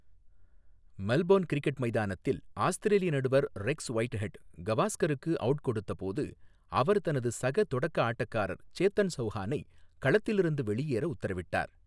Melbourne cricket மைதானத்தில் ஆஸ்திரேலிய நடுவர் ரெக்ஸ் ஒயிட்ஹெட் கவாஸ்கருக்கு அவுட் கொடுத்தபோது, அவர் தனது சக தொடக்க ஆட்டக்காரர் சேத்தன் சவுஹானை களத்திலிருந்து வெளியேற உத்தரவிட்டார்.